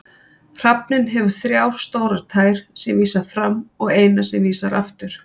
Hrafninn hefur þrjá stórar tær sem vísa fram og eina sem vísar aftur.